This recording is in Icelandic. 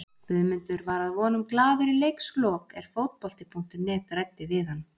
Guðmundur var að vonum glaður í leikslok er fótbolti.net ræddi við hann.